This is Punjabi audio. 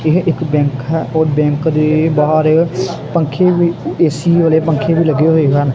ਏਹ ਇੱਕ ਬੈਂਕ ਹੈ ਔਰ ਬੈਂਕ ਦੇ ਬਾਹਰ ਪੰਖੇ ਵੀ ਐ_ਸੀ ਵਾਲੇ ਪੱਖੇ ਵੀ ਲੱਗੇ ਹੋਏ ਹਨ।